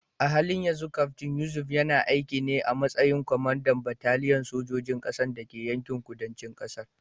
A halin yanzu Kaftin Yusuf yana aiki ne a matsayin kwamandan bataliyar sojojin ƙasa da ke yankin kudancin ƙasar.